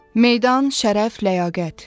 Meydan, şərəf, ləyaqət.